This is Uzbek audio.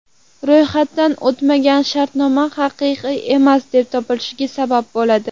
Ro‘yxatdan o‘tmagan shartnoma haqiqiy emas deb topilishiga sabab bo‘ladi.